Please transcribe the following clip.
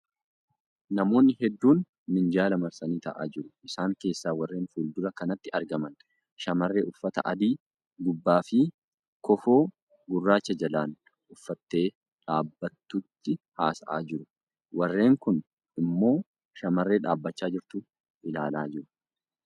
Namoonni heduun minjaala marsanii taa'aa jiru. Isaan keessaa warreen fuuldura kanatti argaman shamarree uffata adii gubbaa fi kofoo gurraacha jalaan uffattee dhaabbattutti haasa'aa jiru. Warreen kuun immoo shamarree dhaabbachaa jirtu ilaalaa jirti.